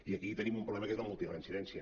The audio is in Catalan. i aquí tenim un problema que és la multireincidència